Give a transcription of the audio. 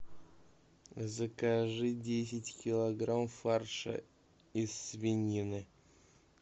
закажи десять килограмм фарша из свинины